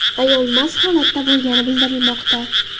Ayol mast holda bo‘lgani bildirilmoqda.